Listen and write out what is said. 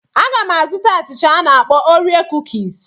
Aga m azụta achịcha a na-akpọ orie kukis.